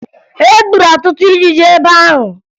E gburu ọtụtụ ijiji ebe ahụ